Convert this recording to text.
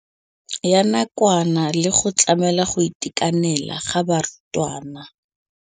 Ya nakwana le go tlamela go itekanela ga barutwana.